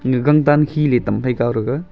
nu gang tan khe le tam phai kaw thega.